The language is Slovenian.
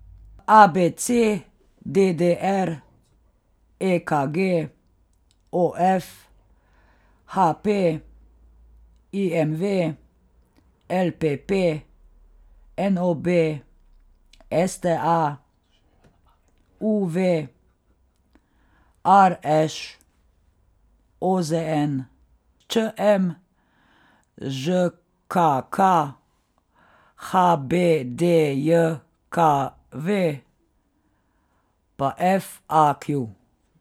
A B C; D D R; E K G; O F; H P; I M V; L P P; N O B; S T A; U V; R Š; O Z N; Č M; Ž K K; H B D J K V; pa F A Q.